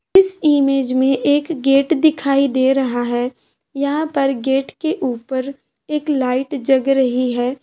इस इमेज में एक गेट दिखाई दे रहा है यहाँ पे गेट के ऊपर एक लाईट जग रही है।